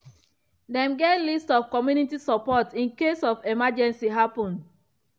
dem get list of community support in case any emergency happen.